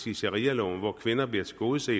i sharialoven hvor kvinder bliver tilgodeset